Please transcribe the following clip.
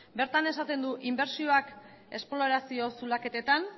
bertan esaten du inbertsioak esplorazio zulaketetan